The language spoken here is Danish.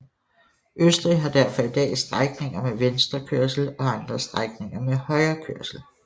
Østrig har derfor i dag strækninger med venstrekørsel og andre strækninger med højrekørsel